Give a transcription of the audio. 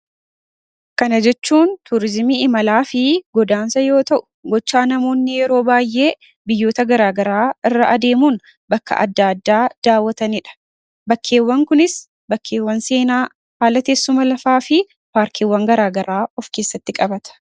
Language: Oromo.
Kana jechuun turizimii imalaa fi godaansaa yoo ta'u, gochaa namoonni baay'een biyyoota garagaraa irraa deemanii daawwatanidha. Bakkeewwan Kunis bakka seenaa, haala teessuma lafaa fi parkiiwwan garagaraa of keessatti qabata.